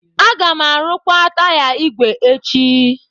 Aga m arụkwa taya ígwè ígwè echi.